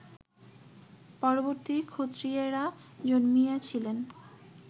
পরবর্তী ক্ষত্রিয়েরা জন্মিয়াছিলেন